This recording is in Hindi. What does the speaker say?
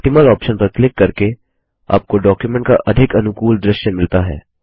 Optimalऑप्शन पर क्लिक करके आपको डॉक्युमेंट का अधिक अनुकूल दृश्य मिलता है